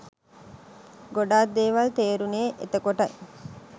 ගොඩක් දේවල් තේරුනේ එතකොටයි